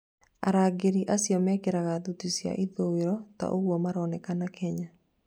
arangĩri acĩo mekiraga thuti cĩa ithũĩro ta ũguo maroneka Kenya